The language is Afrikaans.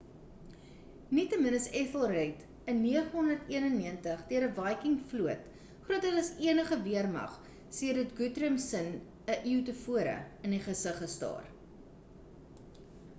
nietemin is ethelred in 991 deur 'n viking vloot groter as enige weermag sedert guthrum s'n 'n eeu tevore in die gesig gestaar